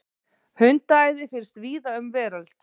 Hundaæði finnst víða um veröld.